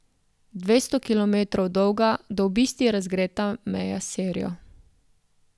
Devetsto kilometrov dolga, do obisti razgreta meja s Sirijo.